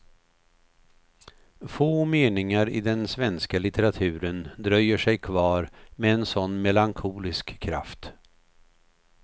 Få meningar i den svenska litteraturen dröjer sig kvar med en sådan melankolisk kraft.